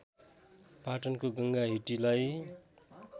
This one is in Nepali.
पाटनको गङ्गा हिटीलाई